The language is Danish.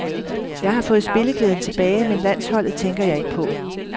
Jeg har fået spilleglæden tilbage, men landsholdet tænker jeg ikke på.